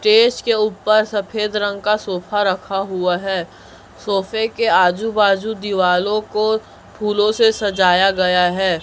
Stage के ऊपर सफेद रंग का सोफा रखा हुआ हैं सोफे के आजू बाजू दीवालों को फूलों से सजाया गया हैं।